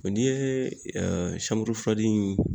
Wa n'i ye in